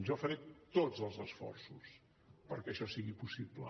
jo faré tots els esforços perquè això sigui possible